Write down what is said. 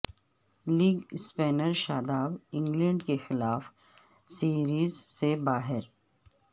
league spinner Shadab England کے خلاف series سے باہر